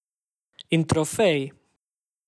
In trofej.